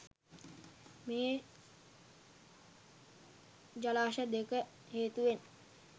මේ ජලාශ දෙක හේතුවෙන්